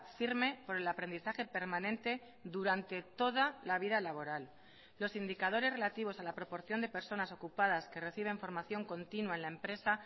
firme por el aprendizaje permanente durante toda la vida laboral los indicadores relativos a la proporción de personas ocupadas que reciben formación continua en la empresa